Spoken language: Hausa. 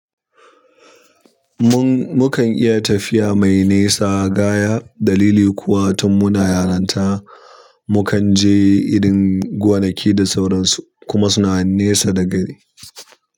Mun, mukan iya tafiya mai nesa gaya. Dalili kuwa tun muna yaranta mu kan je irin gonaki da sauransu kuma suna nesa da gari.